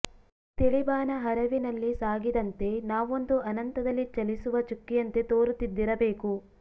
ತಿಳಿ ಬಾನ ಹರವಿನಲ್ಲಿ ಸಾಗಿದಂತೆ ನಾವೊಂದು ಅನಂತದಲಿ ಚಲಿಸುವ ಚುಕ್ಕಿಯಂತೆ ತೋರುತ್ತಿದ್ದಿರಬೇಕು